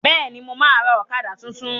Bẹ́ẹ̀ni, mo ma ra ọ̀kadà tuntun